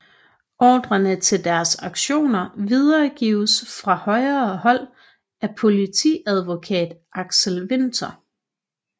Ordrerne til deres aktioner videregives fra højere hold af politiadvokat Aksel Winther